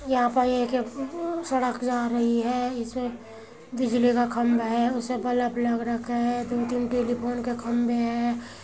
यहां पर ये एक सड़क जा रही है। इसमें बिजली का खम्बा है। उसमें बलफ लग रखा है। दो तीन टेलीफोन के खम्बें हैं।